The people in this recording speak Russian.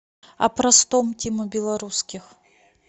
о простом тима белорусских